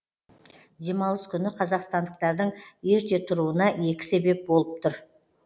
демалыс күні қазақстандықтардың ерте тұруына екі себеп болып тұр